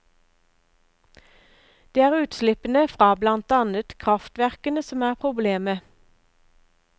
Det er utslippene fra blant annet kraftverkene som er problemet.